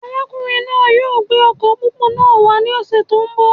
Arákùnrin náà yóò gbé ọkọ pópó náà wà ní ọsẹ tó n bọ